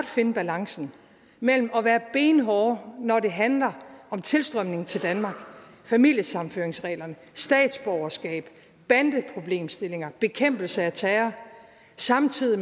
finde balancen mellem at være benhårde når det handler om tilstrømningen til danmark familiesammenføringsreglerne statsborgerskab bandeproblemstillinger bekæmpelse af terror og samtidig